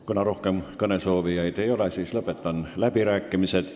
Kuna rohkem kõnesoovijaid ei ole, siis lõpetan läbirääkimised.